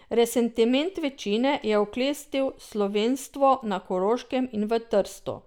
Resentiment večine je oklestil slovenstvo na Koroškem in v Trstu.